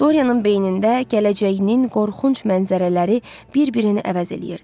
Dorianın beynində gələcəyinin qorxunc mənzərələri bir-birini əvəz eləyirdi.